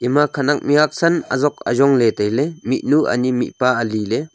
ema khanak mih huak san azok ajong ley tai ley mihnu ane mihpa ali le.